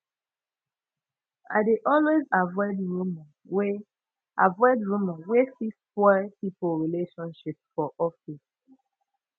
i dey always avoid rumor wey avoid rumor wey fit spoil pipo relationship for office